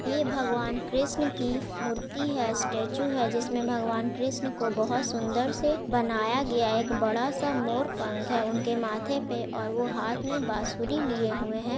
ये भगवान कृष्णा की मूर्ति है स्टैचू है जिसमे भगवान कृष्णा को बहुत सुंदर से बनाया गया एक बड़ा-सा मोर पंख है उनके माथे पे और वो हाथ मे बांसुरी लिए हुए हैं।